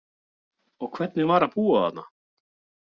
Og hvernig var að búa þarna?